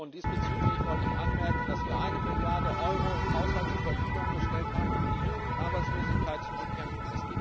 Diesbezüglich wollte ich anmerken, dass wir eine Milliarde Euro im Haushalt zur Verfügung gestellt haben, um die Jugendarbeitslosigkeit zu bekämpfen.